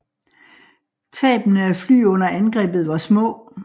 Tabene af fly under angrebet var små